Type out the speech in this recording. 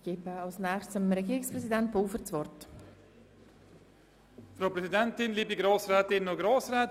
Als nächstes erteile ich Regierungsrat Pulver das Wort.